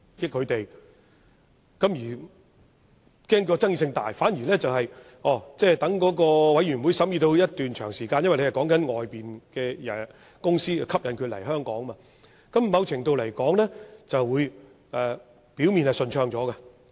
由於政府恐怕爭議性大，反而待法案委員會審議一段長時間後，因為所討論的是吸引外面的公司來港，某程度來說，表面會較順暢。